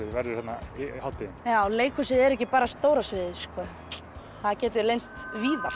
verður hérna á hátíðinni já leikhús er ekki bara stóra sviðið það getur leynst víðar